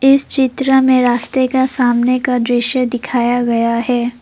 इस चित्र में रास्ते का सामने का दृश्य दिखाया गया है।